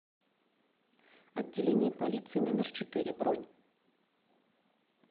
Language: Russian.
отделение полиции номер четыре бронь